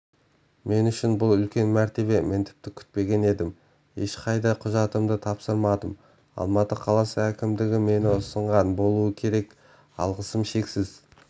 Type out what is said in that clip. мен үшін бұл үлкен мәртебе мен тіпті күтпеген едім ешқайда құжатымды тапсырмадым алматы қаласының әкімдігі мені ұсынған болуы керек алғысым шексіз